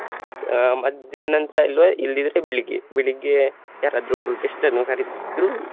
ಅಹ್ ಮಧ್ಯಾಹ್ನ ನಂತ್ರ ಇಲ್ವಾ ಇಲ್ಲದಿದ್ರೆ ಬೆಳಿಗ್ಗೆ ಬೆಳಿಗ್ಗೆ ಯಾರಾದ್ರೂ ಒಬ್ರು guest ಅನ್ನು ಕರೀತಿದ್ರು.